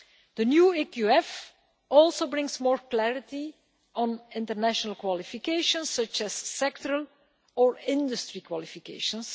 Day. The new EQF also brings more clarity on international qualifications such as sectoral or industry qualifications.